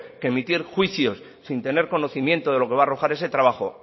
que emitir juicios sin tener conocimiento de lo que va a arrojar ese trabajo